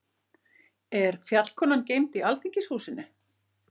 Er Fjallkonan geymd í Alþingishúsinu?